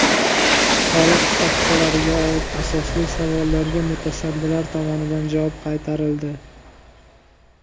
Soliq stavkalariga oid asosli savollarga mutasaddilar tomonidan javob qaytarildi.